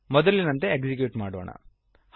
ಮೊದಲಿನಂತೆ ಎಕ್ಸಿಕ್ಯೂಟ್ ಮಾಡೋಣ